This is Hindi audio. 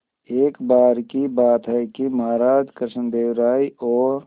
एक बार की बात है कि महाराज कृष्णदेव राय और